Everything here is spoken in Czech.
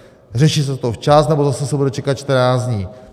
Řeší se to včas, nebo se zase bude čekat 14 dní?